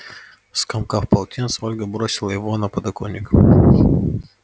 скомкав полотенце ольга бросила его на подоконник